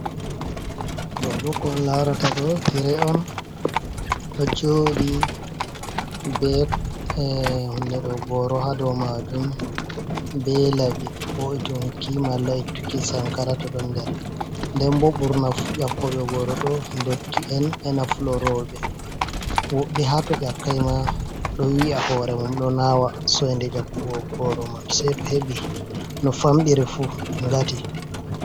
Ɗoboko on larata do tire on ɗo joɗi bo Goro ha dow majum be laɓi wo’itunki malla ittuki sankara to ɗo nder. Nden bo, ɓurna fu yakkoɓe goro ɗo ndotti en ena fuloroɓe woɓɓe hato ƴakkai ma ɗo wi'a hore mum ɗo nawa soinde yakkugo goro man sei to heɓi no famɗiri fu ngati.